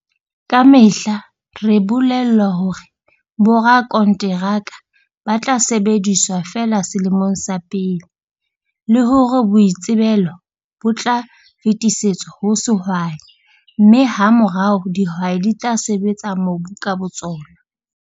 Ka mehla re bolellwa hore borakonteraka ba tla sebediswa feela selemong sa pele, le hore boitsebelo bo tla fetisetswa ho sehwai, mme hamorao dihwai di tla sebetsa mobu ka botsona.